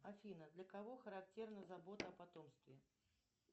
афина для кого характерна забота о потомстве